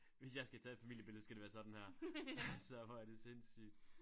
Hvis jeg skal tage et familiebillede skal det være sådan her altså hvor er det sindssygt